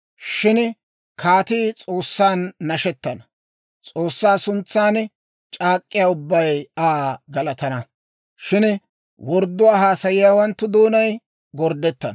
Shin kaatii S'oossan nashettana. S'oossaa suntsan c'aak'k'iyaa ubbay Aa galatana; shin wordduwaa haasayiyaawanttu doonay gorddettana.